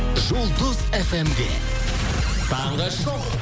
жұлдыз фм де таңғы шоу